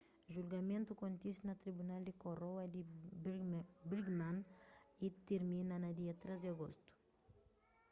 julgamentu kontise na tribunal di koroa di birmingham y tirmina dia 3 di agostu